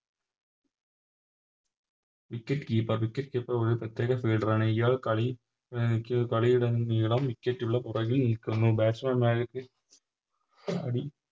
Wicketkeeper wicketkeper ഒര് പ്രത്യേക Fielder ആണ് ഇയാൾ കളി കളിയുടെ നീളം Wicket ഉള്ള പുറകിൽ നിൽക്കുന്നു Batsman മാരിക്ക്